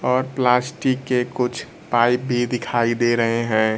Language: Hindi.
और प्लास्टिक के कुछ पाइप भी दिखाई दे रहे हैं।